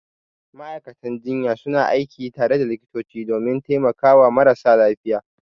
Ma'aikatan jinya suna aiki tare da likitoti domin taimakawa marasa lafiya.